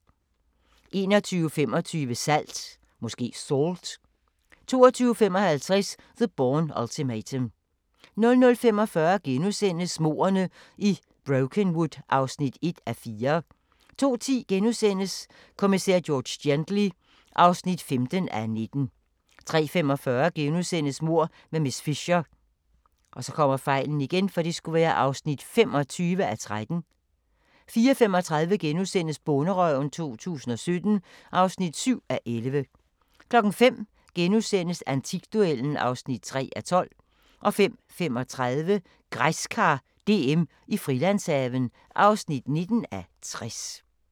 21:25: Salt 22:55: The Bourne Ultimatum 00:45: Mordene i Brokenwood (1:4)* 02:10: Kommissær George Gently (15:19)* 03:45: Mord med miss Fisher (25:13)* 04:35: Bonderøven 2017 (7:11)* 05:00: Antikduellen (3:12)* 05:35: Græskar DM i Frilandshaven (19:60)